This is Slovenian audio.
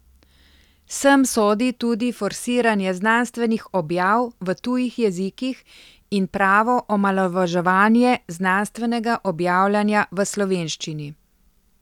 Sem sodi tudi forsiranje znanstvenih objav v tujih jezikih in pravo omalovaževanje znanstvenega objavljanja v slovenščini.